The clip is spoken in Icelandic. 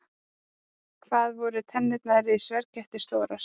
Hvað voru tennurnar í sverðkettinum stórar?